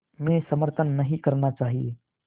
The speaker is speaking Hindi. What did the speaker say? में समर्थन नहीं करना चाहिए